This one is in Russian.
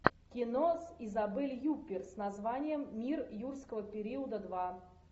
кино с изабель юппер с названием мир юрского периода два